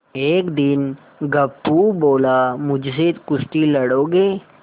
एक दिन गप्पू बोला मुझसे कुश्ती लड़ोगे